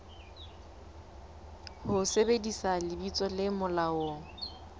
ho sebedisa lebitso le molaong